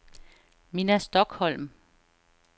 Minna Stokholm